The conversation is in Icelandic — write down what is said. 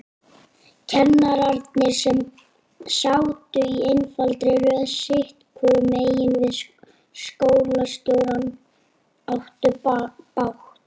Kennararnir, sem sátu í einfaldri röð sitthvoru megin við skólastjórann, áttu bágt.